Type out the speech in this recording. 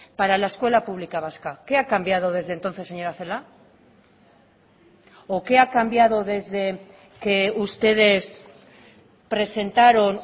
para la escuela pública vasca qué ha cambiado desde entonces señora celaá o qué ha cambiado desde que ustedes presentaron